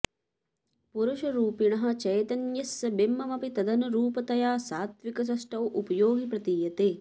पुरुषरूपिणः चैतन्यस्य बिम्बमपि तदनु रूपतया सात्त्विकसृष्टौ उपयोगि प्रतीयते